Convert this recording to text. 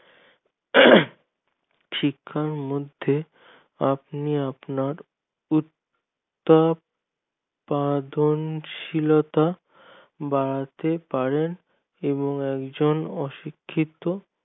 শিক্ষা মধ্যে আপনি আপনার উৎপাদন শীলতা বাড়াতে পারে এবং একজন অশিক্ষিত